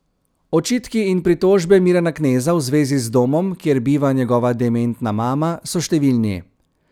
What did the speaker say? Očitki in pritožbe Mirana Kneza v zvezi z domom, kjer biva njegova dementna mama, so številni.